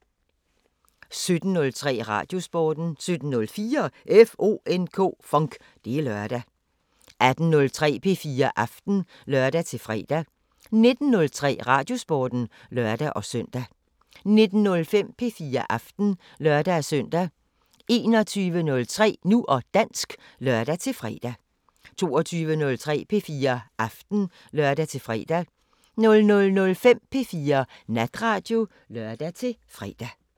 17:03: Radiosporten 17:04: FONK! Det er lørdag 18:03: P4 Aften (lør-fre) 19:03: Radiosporten (lør-søn) 19:05: P4 Aften (lør-søn) 21:03: Nu og dansk (lør-fre) 22:03: P4 Aften (lør-fre) 00:05: P4 Natradio (lør-fre)